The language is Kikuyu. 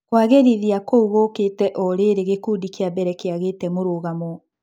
Kũagĩrithia kũu gũkĩte orĩrĩ gĩkundi kĩa mbere kĩagĩte mũrũgamo.